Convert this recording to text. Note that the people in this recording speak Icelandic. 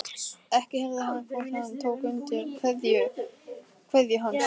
Ekki heyrði hann hvort konan tók undir kveðju hans.